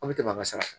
Aw bɛ tɛmɛ a ka sara